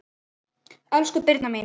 Elsku Birna mín.